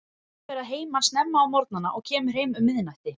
Hann fer að heiman snemma á morgnana og kemur heim um miðnætti.